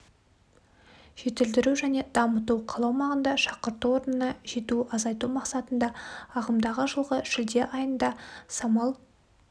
жетілдіру және дамыту қала аумағында шақырту орнына жету азайту мақсатында ағымдағы жылғы шілде айында самал